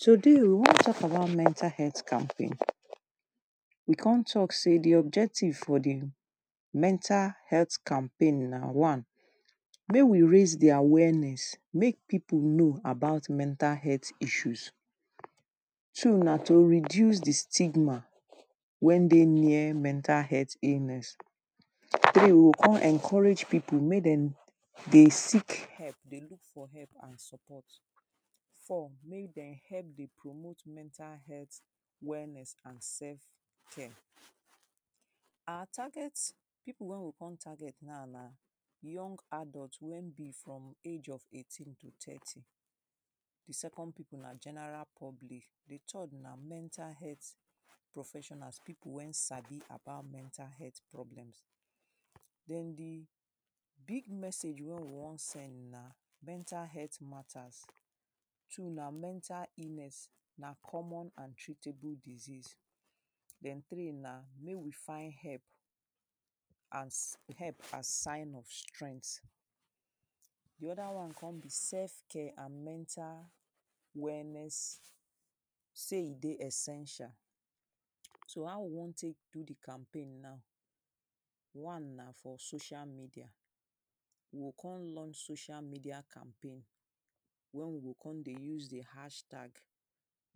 Today we wan talk about mental health campaign. We con talk say the objective for the mental health campaign na one, Mey we raise the awareness. Make people know about mental health issues. Two na to reduce the stigma when dey near mental health illness. Three: You oh con encourage people make dem dey seek help, dey look for help and support. Four: Make dem help dey promote mental health wellness and self care. Our target, people wey we con target now na Young adult wey be from eighteen to thirty. The second people na general public. The third na mental health professionals. People wey sabi about mental health problems Den the big message wey we wan send na mental health matter. Two na mental illness. Na common and treatable disease. Den three na make we find help as help sign of strenght. The other one con be self care and mental wellness. Say e dey essential. So, how we wan take do the campaign na? One na social media. We go con lunch socail media campaign. When we go con dey use the hashtag,